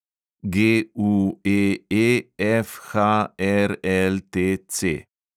GUEEFHRLTC